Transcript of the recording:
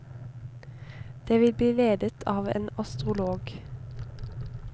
Det vil bli ledet av en astrolog.